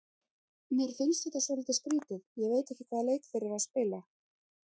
Mér finnst þetta svolítið skrýtið, ég veit ekki hvaða leik þeir eru að spila.